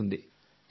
సందీప్ గారు